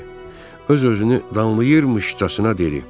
Öz-özünü danlayırmışcasına dedi: